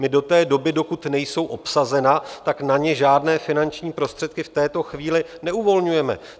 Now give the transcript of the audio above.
My do té doby, dokud nejsou obsazena, tak na ně žádné finanční prostředky v této chvíli neuvolňujeme.